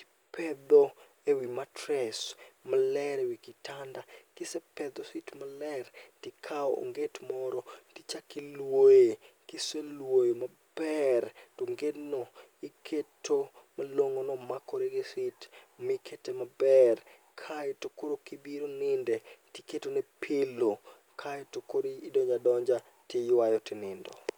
ipedho ewi matres maler ewi kitanda. Kisepedho sit maler tikawo onget moro tichakiluoye, kiseluoyo maber tongedno iketo malong'ono makore gi sit mikete maber kaeto koro kibiro ninde tiketone pilo. Kaeto koridonja donja tiywaye tinindo.